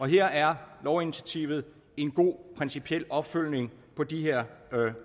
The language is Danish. her er lovinitiativet en god principiel opfølgning på de her